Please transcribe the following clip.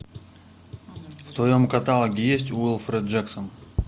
в твоем каталоге есть уилфред джексон